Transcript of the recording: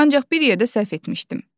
Ancaq bir yerdə səhv etmişdim.